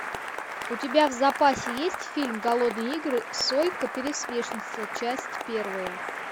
у тебя в запасе есть фильм голодные игры сойка пересмешница часть первая